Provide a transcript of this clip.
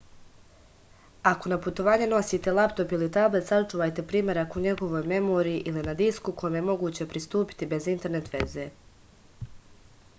ако на путовање носите лаптоп или таблет сачувајте примерак у његовој меморији или на диску коме је могуће приступити без интернет везе